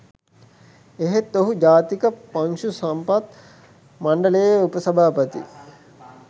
එහෙත් ඔහු ජාතික පශු සම්පත් මණ්ඩලයේ උපසභාපති